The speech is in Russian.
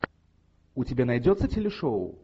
у тебя найдется телешоу